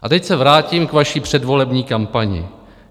A teď se vrátím k vaší předvolební kampani.